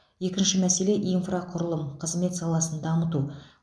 екінші мәселе инфрақұрылым қызмет саласын дамыту